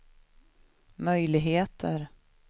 möjligheter